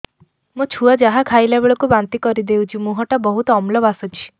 ମୋ ଛୁଆ ଯାହା ଖାଇଲା ବେଳକୁ ବାନ୍ତି କରିଦଉଛି ମୁହଁ ଟା ବହୁତ ଅମ୍ଳ ବାସୁଛି